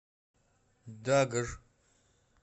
дагр